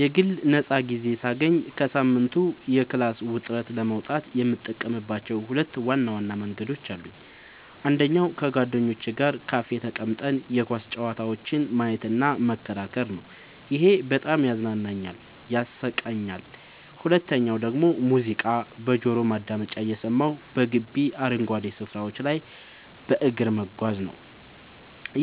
የግል ነፃ ጊዜ ሳገኝ ከሳምንቱ የክላስ ውጥረት ለመውጣት የምጠቀምባቸው ሁለት ዋና መንገዶች አሉኝ። አንደኛው ከጓደኞቼ ጋር ካፌ ተቀምጠን የኳስ ጨዋታዎችን ማየትና መከራከር ነው፤ ይሄ በጣም ያዝናናኛል፣ ያሳቀኛልም። ሁለተኛው ደግሞ ሙዚቃ በጆሮ ማዳመጫ እየሰማሁ በግቢው አረንጓዴ ስፍራዎች ላይ በእግር መጓዝ ነው፤